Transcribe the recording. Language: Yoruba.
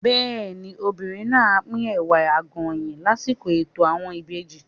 Bẹ́ẹ̀ni, obìnrin náà á pín Ẹ̀wà Àgọ̀yìn lásìkò ètò àwọn ìbejì.